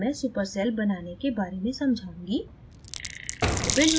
अब मैं super cell बनाने के बारे में समझाऊँगी